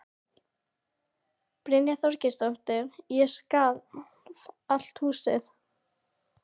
Brynja Þorgeirsdóttir: Og skalf allt húsið?